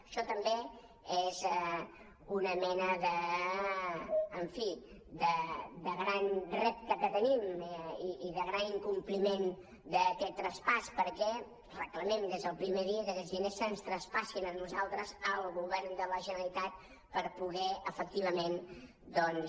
això també és una mena en fi de gran repte que tenim i de gran incompliment d’aquest traspàs perquè reclamem des del primer dia que aquests diners se’ns traspassin a nosaltres al govern de la generalitat per poder efectivament doncs